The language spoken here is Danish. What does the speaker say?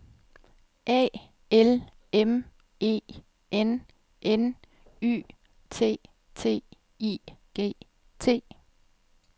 A L M E N N Y T T I G T